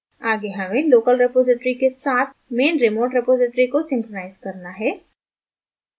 आगे हमें local repository के साथ main remote repository को synchronize करना है